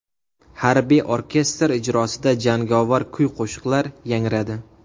Harbiy orkestr ijrosida jangovar kuy-qo‘shiqlar yangradi.